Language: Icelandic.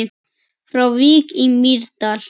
Frá Vík í Mýrdal